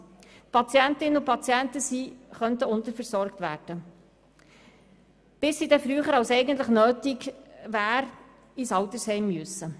Es besteht die Gefahr, dass Patientinnen und Patienten unterversorgt werden, bis sie dann früher, als es eigentlich nötig wäre, ins Altersheim ziehen müssen.